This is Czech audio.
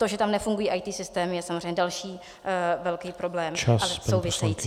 To, že tam nefungují IT systémy, je samozřejmě další velký problém , ale související.